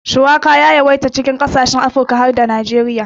Shuwaka ya shahara a yawancin kasashen yammacin Afirka ciki har da Najeriya.